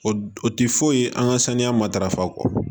O o tɛ foyi ye an ka saniya matarafa kɔ